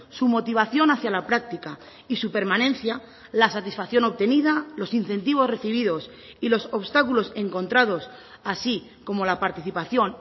su motivación hacia la práctica y su permanencia la satisfacción obtenida los incentivos recibidos y los obstáculos encontrados así como la participación